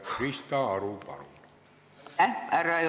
Krista Aru, palun!